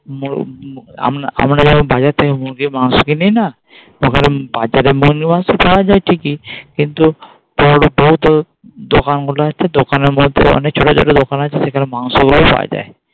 আমরা আমরা যাবো বাজার থেকে মুরগির মাংস কিনি না ঠিকই কিন্তু দোকানগুলো হচ্ছে দোকানের মধ্যে অনেক ছোট ছোট দোকান আছে সেখানে মাংসগুলোও পাওয়া যায়